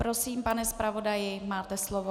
Prosím pane zpravodaji, máte slovo.